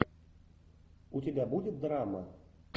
у тебя будет драма